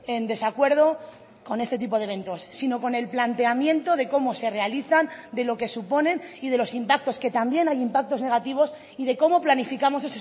en desacuerdo con este tipo de eventos sino con el planteamiento de cómo se realizan de lo que suponen y de los impactos que también hay impactos negativos y de cómo planificamos